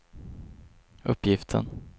uppgiften